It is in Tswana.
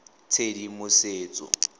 tshedimosetso